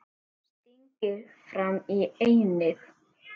Stingir fram í ennið.